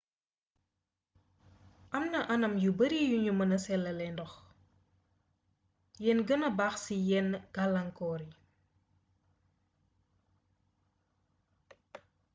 am na anam yu bare yu nu mëna selalee ndox yen gëna baax ci yenn galaangkoor yi